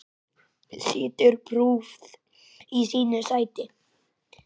Situr prúð í sínu sæti.